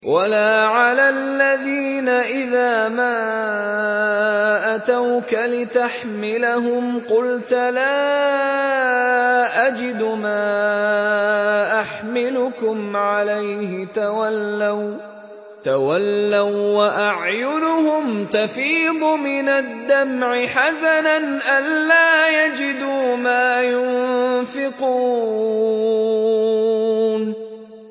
وَلَا عَلَى الَّذِينَ إِذَا مَا أَتَوْكَ لِتَحْمِلَهُمْ قُلْتَ لَا أَجِدُ مَا أَحْمِلُكُمْ عَلَيْهِ تَوَلَّوا وَّأَعْيُنُهُمْ تَفِيضُ مِنَ الدَّمْعِ حَزَنًا أَلَّا يَجِدُوا مَا يُنفِقُونَ